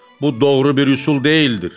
Bu doğru bir üsul deyildir.